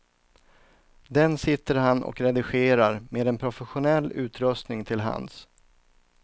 Den sitter han och redigerar med en professionell utrustning till hands.